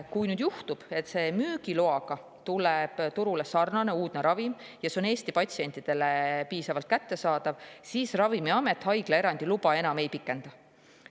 Kui juhtub nüüd, et turule tuleb sarnane uudne ravim, millel on müügiluba, ja see on Eesti patsientidele piisavalt kättesaadav, siis Ravimiamet haiglaerandi luba enam ei pikenda.